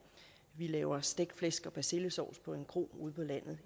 laves stegt flæsk og persillesovs på en kro ude på landet